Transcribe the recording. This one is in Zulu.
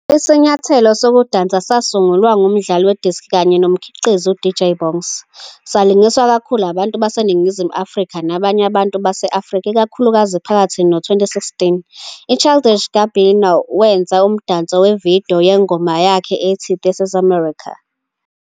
Isinyathelo sokudansa sasungulwa ngumdlali we-disc kanye nomkhiqizi uDJ Bongz, salingiswa kakhulu abantu baseNingizimu Afrika nabanye abantu base-Afrika ikakhulukazi phakathi no-2016. UChildish Gambino wenza umdanso ku-video yengoma yakhe ethi "This Is America".